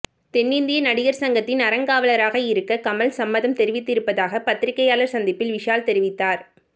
தென்னிந்திய நடிகர் சங்கத்தின் அறங்காவலராக இருக்க கமல் சம்மதம் தெரிவித்திருப்பதாக பத்திரிகையாளர் சந்திப்பில் விஷால் தெரிவித்தார்